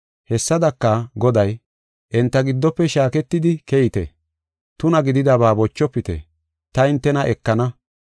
Hessadaka, Goday, “Enta giddofe shaaketidi keyite; tuna gididaba bochofite; ta hintena ekana.